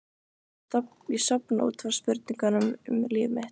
Ég sofna út frá spurningum um líf mitt.